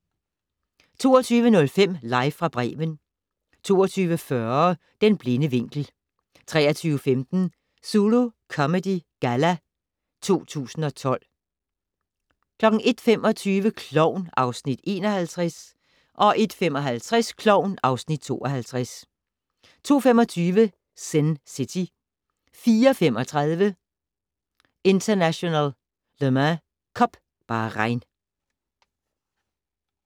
22:05: Live fra Bremen 22:40: Den blinde vinkel 23:15: Zulu Comedy Galla 2012 01:25: Klovn (Afs. 51) 01:55: Klovn (Afs. 52) 02:25: Sin City 04:35: International Le Mans Cup - Bahrain